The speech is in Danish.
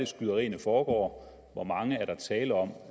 skyderierne foregår hvor mange er der tale om